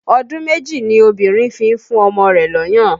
Ọdún méjì ni obìnrin fi ń fún ọmọ rẹ̀ lọ́yàn